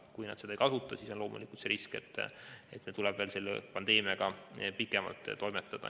Kui nad seda võimalust ei kasuta, siis on loomulikult risk, et meil tuleb selle pandeemiaga veel pikemalt toimetada.